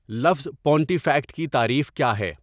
لفظ پونٹیفکیٹ کی تعریف کیا ہے